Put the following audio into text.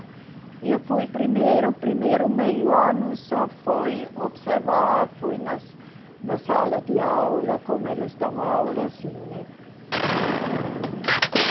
E eu fui primeiro, primeiro meio ano só fui observar, fui nas, na sala de aula, como eles dão aula, assim, né?